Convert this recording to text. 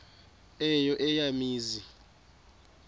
eyo eya mizi